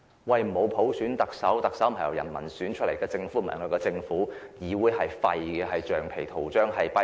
由於沒有普選，特首及政府都不是由人民選出來的，議會也是廢的，只是"橡皮圖章"、"跛腳鴨"。